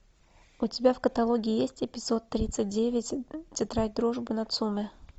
у тебя в каталоге есть эпизод тридцать девять тетрадь дружбы нацумэ